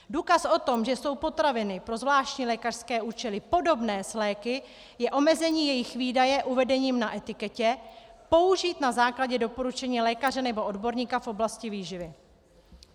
Důkaz o tom, že jsou potraviny pro zvláštní lékařské účely podobné s léky, je omezení jejich výdeje uvedením na etiketě: použít na základě doporučení lékaře nebo odborníka v oblasti výživy.